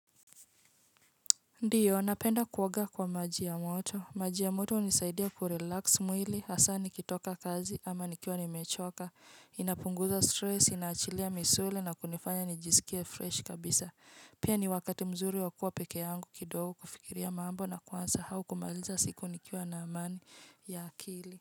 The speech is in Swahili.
Ndiyo, napenda kuoaga kwa maji ya moto. Maji ya moto hunisaidia kurelax mwili, hasa nikitoka kazi ama nikiwa nimechoka, inapunguza stress, inaachilia misuli na kunifanya nijisikia fresh kabisa. Pia ni wakati mzuri wakuwa peke yangu kidogo kufikiria mambo na kuanza au kumaliza siku nikiwa na amani ya akili.